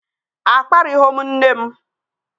Akparịghọ m nne m